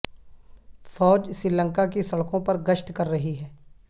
فوج سری لنکا کی سڑکوں پر گشت کر رہی ہے